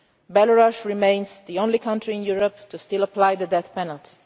Belarus remains the only country in Europe to still apply the death penalty.